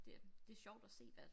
Det det sjovt at se hvad